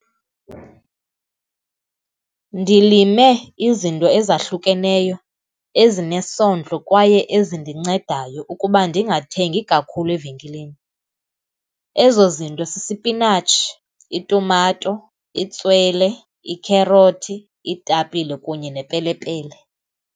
Ndilime izinto ezahlukeneyo, ezinesondlo kwaye ezindincedayo ukuba ndingathengi kakhulu evenkileni. Ezo zinto sisipinatshi, itumato, itswele, ikherothi, iitapile kunye nepelepele.